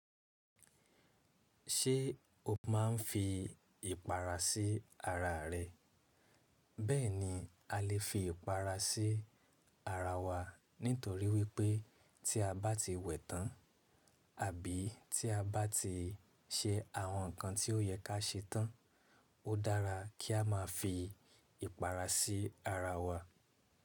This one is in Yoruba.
Ṣé o máa ń fi ìpara sí ara rẹ? Bẹ́ẹ̀ni, a lè fi ìpara sí ara wa nítorí wípé tí a bá ti wẹ̀ẹ̀ tán àbí tí a bá ti ṣe àwọn ǹkan tí ó yẹ ká ṣe tán, ó dára kí a máa fi ìpara sí ara wa.